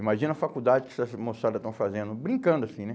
Imagina a faculdade que essas moçada estão fazendo, brincando assim, né?